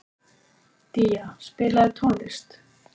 Día, spilaðu tónlist.